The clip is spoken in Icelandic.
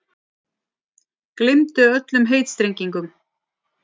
Gleymdu öllum heitstrengingum.